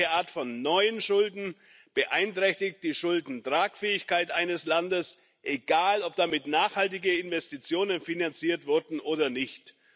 Jegliche Art von neuen Schulden beeinträchtigt die Schuldentragfähigkeit eines Landes egal, ob damit nachhaltige Investitionen finanziert wurden oder nicht.